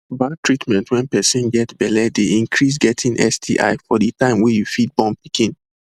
bad treatment wen person get belle dey increase getting sti for the time wey you fit born pikin